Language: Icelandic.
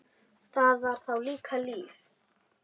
Það var þá líka líf!